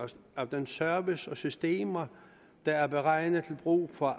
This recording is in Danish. af den service og de systemer der er beregnet til brug for